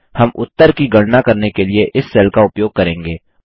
हम उत्तर की गणना करने के लिए इस सेल का उपयोग करेंगे